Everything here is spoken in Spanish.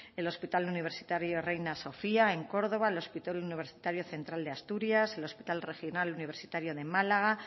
el hospital universitario reina sofía en córdoba el hospital universitario central de asturias el hospital regional universitario de málaga